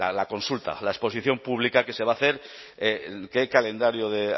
la consulta la exposición pública que se va a hacer qué calendario de